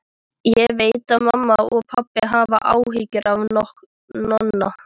Ég veit að mamma og pabbi hafa áhyggjur af Nonna.